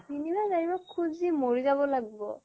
অ' তিনি মাহ চাৰি মাহ খুজি মৰি যাব লাগিব